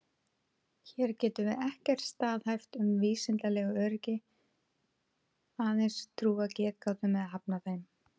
Hér getum við ekkert staðhæft með vísindalegu öryggi, aðeins trúað getgátum eða hafnað þeim.